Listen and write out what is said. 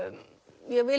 ég vil